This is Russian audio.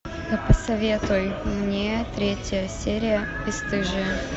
посоветуй мне третья серия бесстыжие